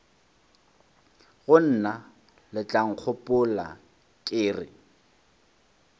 go mna letlankgopola ke re